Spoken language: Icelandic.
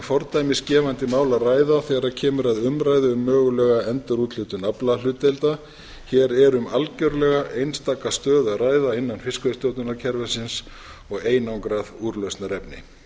fordæmisgefandi mál að ræða þegar kemur að umræðu um mögulega endurúthlutun aflahlutdeilda hér er um algjörlega einstaka stöðu að ræða innan fiskveiðistjórnarkerfisins og einangrað úrlausnarefni